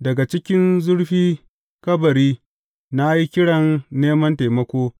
Daga cikin zurfi kabari na yi kiran neman taimako,